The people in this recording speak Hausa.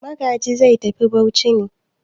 Magaji zai tafi Bauchi ne?